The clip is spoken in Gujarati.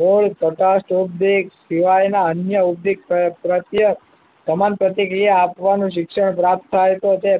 મૂળ કટાક્ષ ઉદ્દિક દિવાળીના અન્ય ઉદ્દીક પ્રત્યક્ષ સમાન પ્રતિક્રિયા આપવાનું શિક્ષણ પ્રાપ્ત થાય તો તે